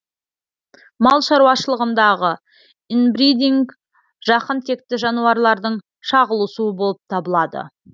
мал шаруашылығындағы инбридинг жақын текті жануарлардың шағылысуы болып табылады